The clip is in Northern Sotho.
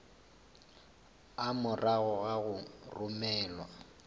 a morago ga go romelwa